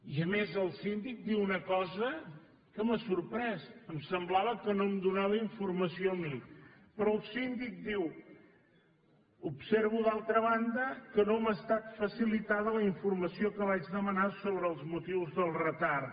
i a més el síndic diu una cosa que m’ha sorprès em semblava que no em donava informació a mi però el síndic diu observo d’altra banda que no m’ha estat facilitada la informació que vaig demanar sobre els motius del retard